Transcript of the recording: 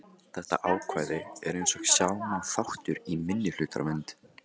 Þetta ákvæði er eins og sjá má þáttur í minnihlutavernd.